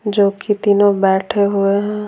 जो कि तीनों बैठे हुए हैं।